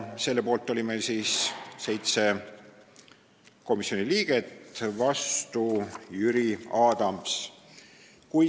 Selle poolt oli 7 komisjoni liiget, vastu oli Jüri Adams.